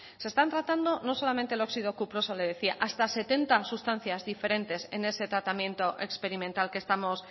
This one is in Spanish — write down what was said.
se están tratando no solamente el oxido cuproso le decía hasta setenta sustancias diferentes en ese tratamiento experimental que estamos